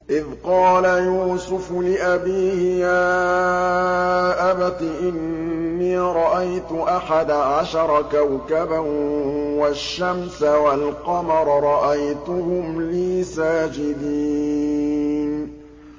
إِذْ قَالَ يُوسُفُ لِأَبِيهِ يَا أَبَتِ إِنِّي رَأَيْتُ أَحَدَ عَشَرَ كَوْكَبًا وَالشَّمْسَ وَالْقَمَرَ رَأَيْتُهُمْ لِي سَاجِدِينَ